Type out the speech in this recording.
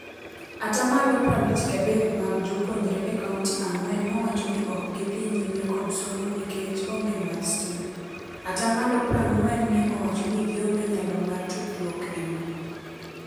Atamalo prabich gadek mag jopuonjnre e kaunti ang'wen nowacho ni okgidhi nyime kod somo nikec onge mar stima. Atamalo prang'wen ne owacho ni gionge nyalo mar tudruok e mbui.